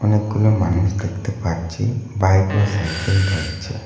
অনেকগুলো মানুষ দেখতে পাচ্ছি বাইক ও সাইকেল রয়েছে।